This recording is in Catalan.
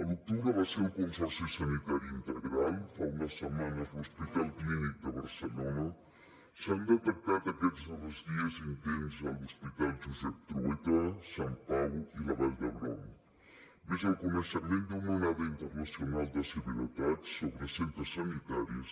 a l’octubre va ser el consorci sanitari integral fa unes setmanes l’hospital clínic de barcelona s’han detectat aquests darrers dies intents a l’hospital josep trueta sant pau i vall d’hebron més el coneixement d’una onada internacional de ciberatacs sobre centres sanitaris